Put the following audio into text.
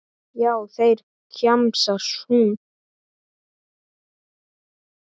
Já, þeir, kjamsar hún.